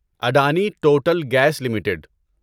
Adani total gas limited